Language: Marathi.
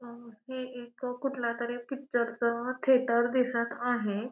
अ हे एक कुठलातरी पिक्चरच अ थिएटर दिसत आहे.